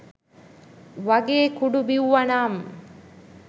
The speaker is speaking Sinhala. වගේ කුඩු බිව්වනම්